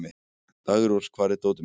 Daggrós, hvar er dótið mitt?